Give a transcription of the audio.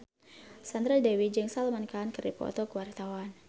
Sandra Dewi jeung Salman Khan keur dipoto ku wartawan